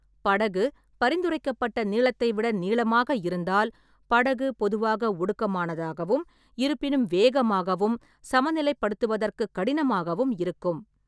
படகு பரிந்துரைக்கப்பட்ட நீளத்தை விட நீளமாக இருந்தால், படகு பொதுவாக ஒடுக்கமானதாகவும், இருப்பினும் வேகமாகவும் சமநிலைப்படுத்துவதற்குக் கடினமாகவும் இருக்கும்.